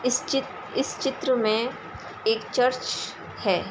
इस चित्त इस चित्र में एक चर्च है।